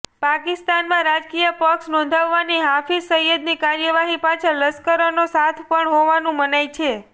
પાકિસ્તાનમાં રાજકીય પક્ષ નોંધાવવાની હાફિઝ સઇદની કાર્યવાહી પાછળ લશ્કરનો સાથ પણ હોવાનું મનાય છે